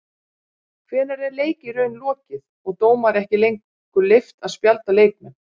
Hvenær er leik í raun lokið og dómara ekki lengur leyft að spjalda leikmenn?